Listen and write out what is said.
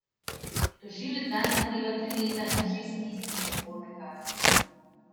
Tožilec zanj zahteva tri leta in šest mesecev zaporne kazni.